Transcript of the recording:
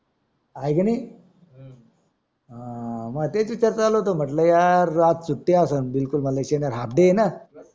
आहे का नाही हां मग तेच विचार चालू होते म्हटलं यार आज सुट्टी असणं बिलकुल आज शनिवार halfday आहेना